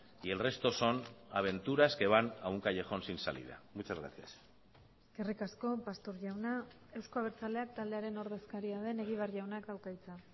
y el resto son aventuras que van a un callejón sin salida muchas gracias eskerrik asko pastor jauna euzko abertzaleak taldearen ordezkaria den egibar jaunak dauka hitza